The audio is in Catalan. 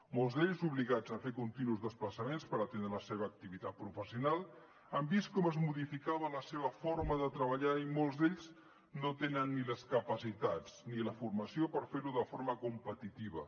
molts d’ells obligats a fer continus desplaçaments per atendre la seva activitat professional han vist com es modificava la seva forma de treballar i molts d’ells no tenen ni les capacitats ni la formació per fer ho de forma competitiva